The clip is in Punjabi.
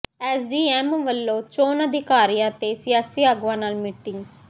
ਐੱਸਡੀਐੱਮ ਵੱਲੋਂ ਚੋਣ ਅਧਿਕਾਰੀਆਂ ਤੇ ਸਿਆਸੀ ਆਗੂਆਂ ਨਾਲ ਮੀਟਿੰਗ